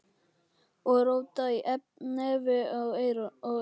Og róta í nefi og eyrum.